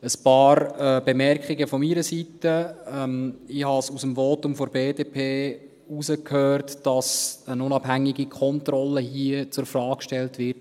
Ein paar Bemerkungen von meiner Seite: Ich habe aus dem Votum der BDP herausgehört, dass hier eine unabhängige Kontrolle in Frage gestellt wird.